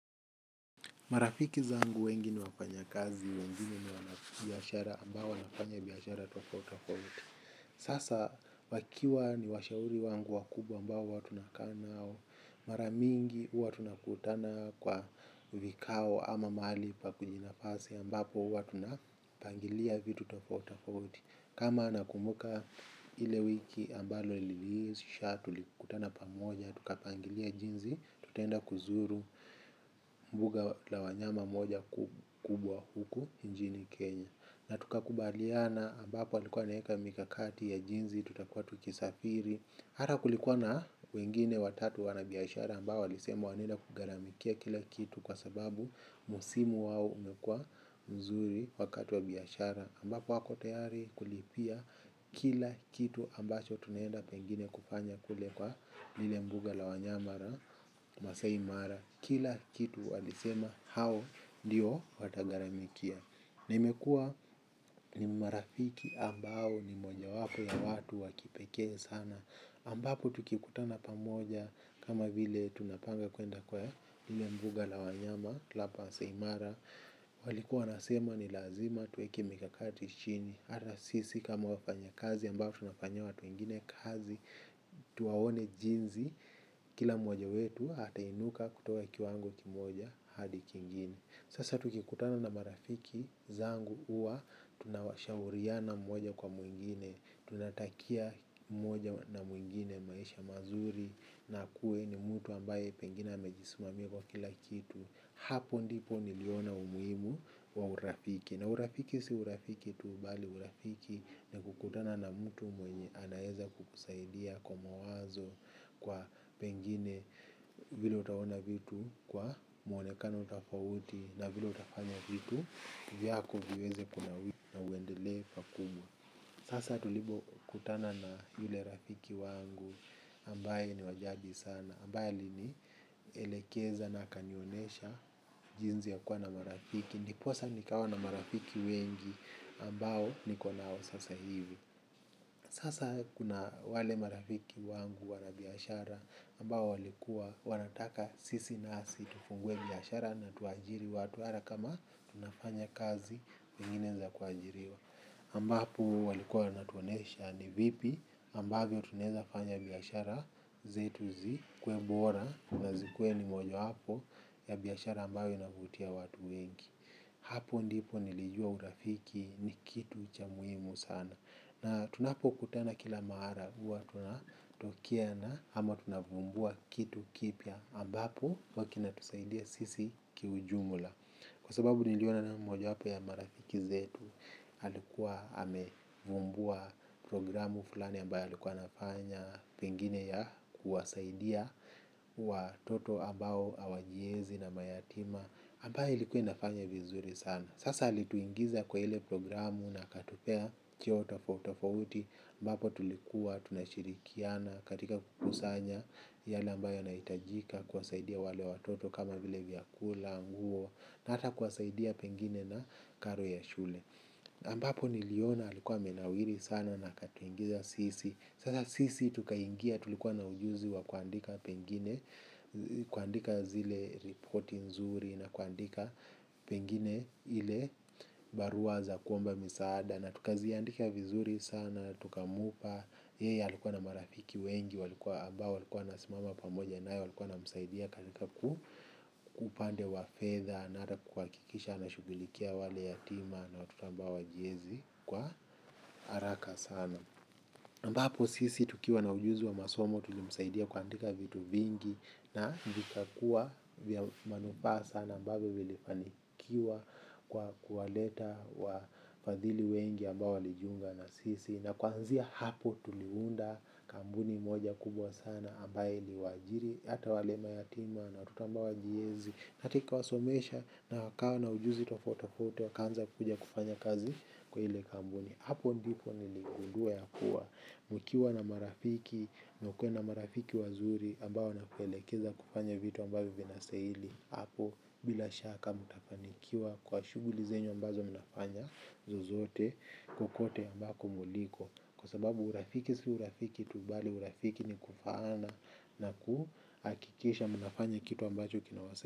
Marafiki zangu wengi ni wafanyakazi wengine ni wanabiashara ambao wanafanya biashara tofauti tofauti. Sasa wakiwa ni washauri wangu wakubwa ambao huwa tunakaa nao. Mara mingi huwa tunakutana kwa vikao ama mahali pa kujinafasi ambapo huwa tu na pangilia vitu tofauti tofauti. Kama anakumuka ile wiki ambalo liliisha tulikutana pamoja, tukapangilia jinsi, tutaenda kuzuru mbuga la wanyama moja kubwa huku nchini Kenya. Na tukakubaliana ambapo alikuwa anaeka mikakati ya jinsi, tutakuwa tukisafiri. Ata kulikuwa na wengine watatu wanabiashara ambao walisema wanaenda kugharamikia kila kitu kwa sababu msimu wao umekua mzuri wakati wa biashara. Ambapo wako tayari kulipia kila kitu ambacho tunaenda pengine kufanya kule kwa lile mbuga la wanyama la masaai mara. Kila kitu walisema hao ndio watagharamikia. Na imekua ni marafiki ambao ni moja wapo ya watu wa kipekee sana ambapo tukikutana pamoja kama vile tunapanga kuenda kwa lile mbuga la wanyama masaai mara. Walikuwa wasema ni lazima tuweke mikakati chini. Hata sisi kama wafanyakazi ambao tunafanyia watu wengine kazi. Tuwaone jinsi kila mwoja wetu atainuka kutoka kiwango kimoja hadi kingine. Sasa tukikutana na marafiki zangu huwa tunawashauriana mmoja kwa mwingine. Tunatakia mmoja na mwingine maisha mazuri. Na akue ni mtu ambaye pengine amejisimamia kwa kila kitu. Hapo ndipo niliona umuhimu wa urafiki. Na urafiki si urafiki tu bali urafiki ni kukutana na mtu mwenye anaeza kusaidia kwa mawazo. Kwa pengine vile utaona vitu. Kwa mwonekano tofauti na vile utafanya vitu. Vyako viweze kunawiri na uendelee pakubwa. Sasa tulipo kutana na yule rafiki wangu ambaye ni wajadi sana ambaye alinielekeza na akanionyesha jinsi ya kuwa na marafiki. Ndiposa nikawa na marafiki wengi ambao nikonao sasa hivi. Sasa kuna wale marafiki wangu wanabiashara ambao walikuwa, wanataka sisi nasi tufungue biashara na tuajiri watu hata kama tunafanya kazi, zingine za kuajiriwa ambapo walikuwa wanatuonyesha ni vipi ambavyo tunaeza fanya biashara zetu zikuwe bora na zikuwe ni moja wapo ya biashara ambayo inavutia watu wengi hapo ndipo nilijua urafiki ni kitu cha muhimu sana na tunapo kutana kila mara huwa tunatokea na ama tunavumbua kitu kipya ambapo huwa kinatusaidia sisi kiujumla kwa sababu niliona naye moja wapo ya marafiki zetu alikuwa amevumbua programu fulani ambayo alikuwa anafanya pengine ya kuwasaidia watoto ambao hawajiezi na mayatima ambayo ilikuwa inafanya vizuri sana. Sasa alituingiza kwa ile programu na akatupea kioo tofauti tofauti ambapo tulikuwa tunashirikiana. Katika kukusanya yale ambayo yanahitajika. Kuwasaidia wale watoto kama vile vyakula, nguo na hata kuwasaidia pengine na karo ya shule ambapo niliona alikuwa amenawiri sana na akatuingiza sisi sasa sisi tuka ingia tulikuwa na ujuzi wa kuandika pengine kuandika zile reporti nzuri na kuandika pengine ile barua za kuomba misaada na tukaziandika vizuri sana, tukamupa yeye alikuwa na marafiki wengi walikuwa ambao, walikuwa wanasimama pamoja naye walikuwa wanamsaidia katika kwa upande wa fedha na hata kuhakikisha ana shugilikia wale yatima na watota ambao hawajiezi kwa haraka sana ambapo sisi tukiwa na ujuzi wa masomo tulimsaidia kuandika vitu vingi na vikakuwa vya manufaa sana ambavyo vilifanikiwa kwa kuwaleta wa fadhili wengi ambao walijiunga na sisi na kuanzia hapo tuliunda kampuni moja kubwa sana ambayo iliwaajiri hata wale mayatima na watoto ambao hawajiezi na hata ikawasomesha na wakawa na ujuzi tofauti tofauti wakaanza kuja kufanya kazi kwa ile kampuni. Hapo ndipo niligundua ya kuwa nikiwa na marafiki na ukuwe na marafiki wazuri ambao wanakuelekeza kufanya vitu ambavyo vinastahili hapo bila shaka mtafanikiwa kwa shuguli zenyu ambazo mnafanya zozote kokote ambako mliko kwa sababu urafiki si urafiki tu bali urafiki ni kufaana na kuhakikisha mnafanya kitu ambacho kinawasa.